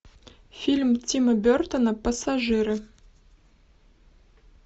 фильм тима бертона пассажиры